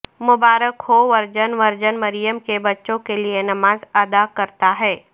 مبارک ہو virgin virgin مریم کے بچوں کے لئے نماز ادا کرتا ہے